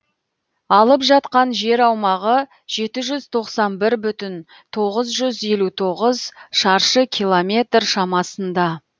алып жатқан жер аумағы жеті жүз тоқсан бір бүтін тоғыз жүз елу тоғыз шаршы километр шамасында